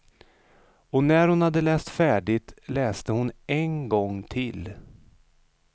Och när hon hade läst färdigt läste hon en gång till.